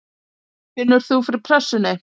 Finnur þú fyrir pressunni?